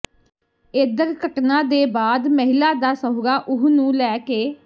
ਏਧਰ ਘਟਨਾ ਦੇ ਬਾਅਦ ਮਹਿਲਾ ਦਾ ਸਹੁਰਾ ਉਹਨੂੰ ਲੈ ਕੇ